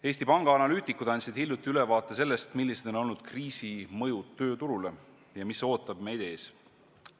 Eesti Panga analüütikud andsid hiljuti ülevaate sellest, millised on olnud kriisi mõjud tööturule ja mis ootab meid ees.